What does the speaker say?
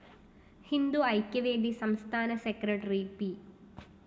ഹിന്ദുഐക്യവേദി സംസ്ഥാന secretary P